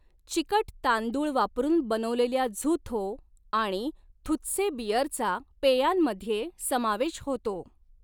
चिकट तांदूळ वापरून बनवलेल्या झुथो आणि थुत्से बिअरचा पेयांमध्ये समावेश होतो.